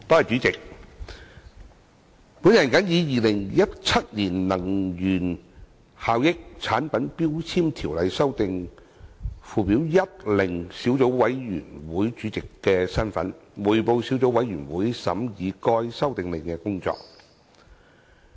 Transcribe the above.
主席，本人謹以《2017年能源效益條例令》小組委員會主席的身份，匯報小組委員會審議該《修訂令》的工作。